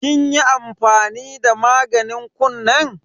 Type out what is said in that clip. Kin yi amfani da maganin kunnen?